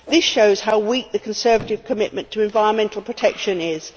This shows how weak the Conservative commitment to environmental protection is.